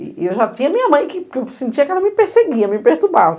E e eu já tinha minha mãe que que eu sentia que ela me perseguia, me perturbava.